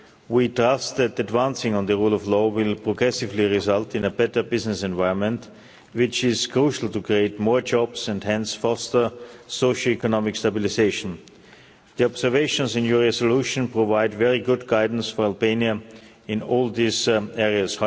We trust that advancing on the rule of law will progressively result in a better business environment which is crucial to create more jobs and hence foster socio economic stabilisation. The observations in your resolution provide very good guidance for Albania in all these areas.